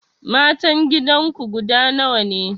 Matan gidanku guda nawa ne?